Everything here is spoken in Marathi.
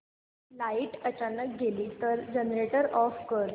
लाइट अचानक गेली तर जनरेटर ऑफ कर